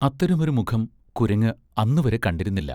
അത്തരമൊരു മുഖം കുരങ്ങ് അന്നുവരെ കണ്ടിരുന്നില്ല.